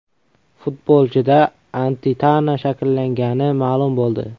Futbolchida antitana shakllangani ma’lum bo‘ldi.